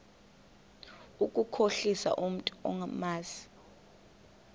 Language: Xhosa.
ukukhohlisa umntu omazi